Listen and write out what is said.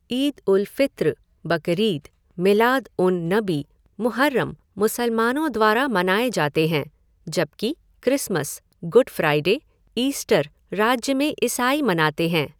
ईद उल फ़ित्र, बकरीद, मिलाद उन नबी, मुहर्रम मुसलमानों द्वारा मनाए जाते हैं जबकि क्रिसमस, गुड फ़्राइडे, ईस्टर राज्य में ईसाई मनाते हैं।